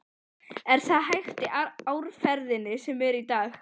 Hallar sér upp að grindverki, móður og másandi.